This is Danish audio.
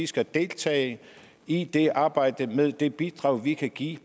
skal deltage i det arbejde med det bidrag vi kan give